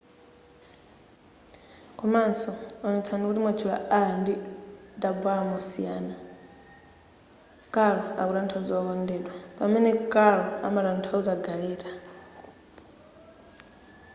komanso onetsetsani kuti mwatchula r ndi rr mosiyana caro akutanthauza wokondeka pamene carro amatanthauza gareta